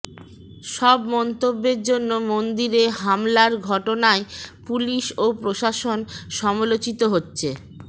সব মন্তব্যের জন্য মন্দিরে হামলার ঘটনায় পুলিশ ওপ্রশাসন সমালোচিত হচ্ছে